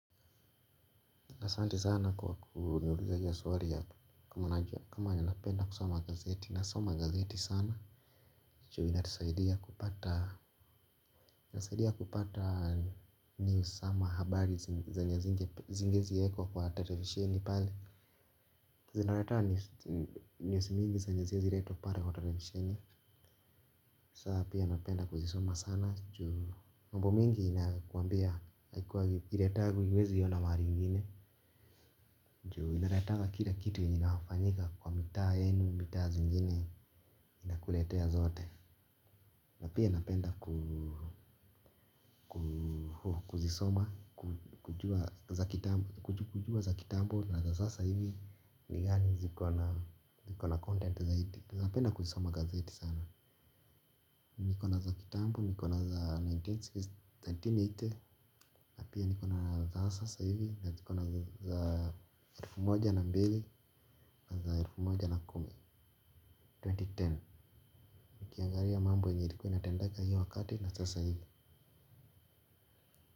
Asante sana kwa kuniuliza hiyo swari ya kama ninapenda kusoma gazeti. Nasoma gazeti sana. Choo inanisaidia kupata news ama habari zenye hazinge haziezi wekwa kwa televisheni pale. Zinaleta news mingi zenye haziwezi letwa pale kwa televisheni. Sasa pia napenda kuzisoma sana. Juu mambo mingi nakuwambia huwezi iona mahali ingine. Juu inaleta kila kitu yenye inafanyika kwa mitaa yenu mitaa zingine inakuletea zote. Na pia napenda kuzisoma, kujua za kitambo na za sasa hivi. Ni gani zikona content zaidi. Napenda kuzisoma gazeti sana. Niko na za kitambob nikona za elfu moja na mia tisa na themanini. Na pia nikona za sasa hivi. Na zikona za elfu moja na mbili na elfu moja na kumi. Nikiangalia mambo yenye ilikuwa inatendeka hio wakati na sasa hivi.